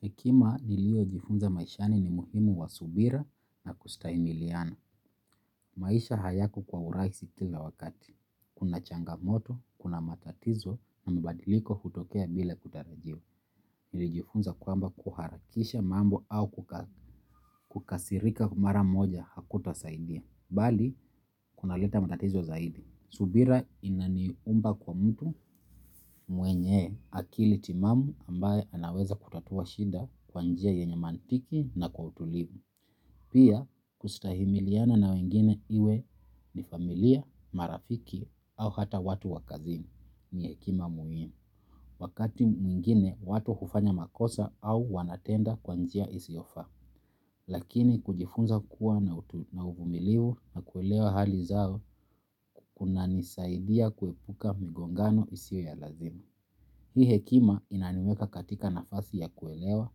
Hekima nilio jifunza maishani ni muhimu wa subira na kustahimiliana. Maisha hayako kwa urahisi kila wakati. Kuna changamoto, kuna matatizo na mbadiliko hutokea bila kutarajiwa. Nilijifunza kwamba kuharakisha mambo au kukasirika mara moja hakutasaidia. Bali, kuna leta matatizo zaidi. Subira inaniumba kwa mtu mwenye akili timamu ambaye anaweza kutatua shida kwa njia yenye mantiki na kutulivu. Pia, kustahimiliana na wengine iwe ni familia, marafiki au hata watu wa kazini ni hekima muhimu wakati mwingine watu hufanya makosa au wanatenda kwa njia isiyofaa. Lakini kujifunza kuwa na uvumiliu na kuelewa hali zao kunanisaidia kuepuka migongano isiyo ya lazima. Hii hekima inaniweka katika nafasi ya kuelewa.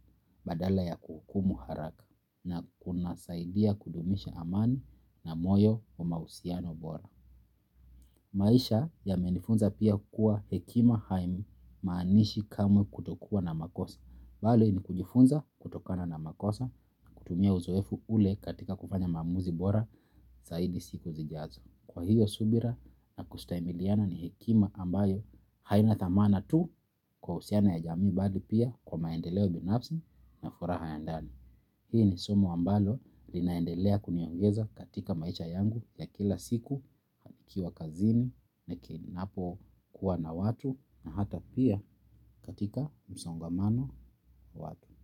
Badala ya kuhukumu haraka na kuna saidia kudumisha amani na moyo na mahusiano bora. Maisha yamenifunza pia kuwa hekima haimaanishi kamwe kutokuwa na makosa. Bali ni kujifunza kutokana na makosa kutumia uzoefu ule katika kufanya maamuzi bora zaidi siku zijazo. Kwa hiyo subira na kustahimiliana ni hekima ambayo haina thamana tu kwa usiana ya jamii bali pia kwa maendeleo binafsi na furaha ya ndani. Hii ni somo ambalo linaendelea kuniongeza katika maisha yangu ya kila siku, nikiwa kazini, ninakinapo kuwa na watu na hata pia katika msongamano watu.